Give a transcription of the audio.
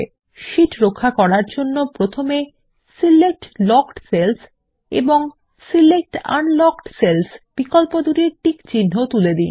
sheet রক্ষা করার জন্য প্রথমে সিলেক্ট লকড সেলস এবং সিলেক্ট আনলকড সেলস বিকল্পদুটির টিকচিন্হ তুলে দিন